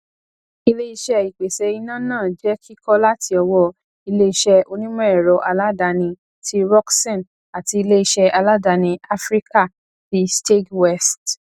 iléiṣẹ ìpèsè iná náà je kikọ láti ọwọ iléiṣé onímọẹrọ aládàáni ti rockson àti iléiṣé aládàáni áfríkà ti steag west